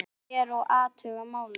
Ég fer og athuga málið.